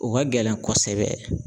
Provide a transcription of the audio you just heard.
O ka gɛlɛn kɔsɛbɛ.